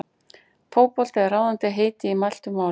Fótbolti er ráðandi heiti í mæltu máli.